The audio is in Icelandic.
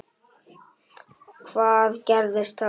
Hvað gerðist þá?